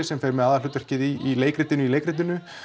sem fer með aðalhlutverkið í leikritinu í leikritinu